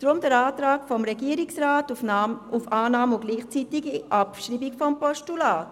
Deshalb der Antrag des Regierungsrats auf Annahme und gleichzeitige Abschreibung des Postulats.